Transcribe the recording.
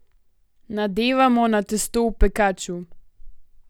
Nadevamo na testo v pekaču.